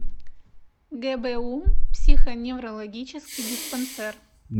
гбу психоневрологический диспансер